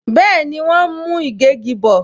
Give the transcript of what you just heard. Bẹẹni, wọn ń mú ìgégi bò